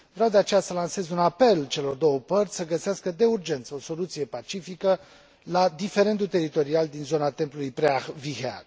Vreau, de aceea, să lansez un apel celor două părți să găsească de urgență o soluție pacifică la diferendul teritorial din zona templului Preah Vihear.